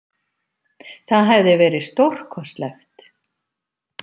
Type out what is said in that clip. Það hefði verið stórkostlegt!